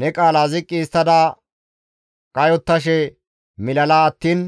Ne qaala ziqqi histtada kayottashe milala attiin